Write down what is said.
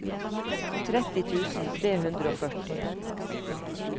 tretti tusen tre hundre og førti